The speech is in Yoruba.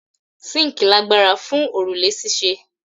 Síńkì lagbara fun orule ṣíṣe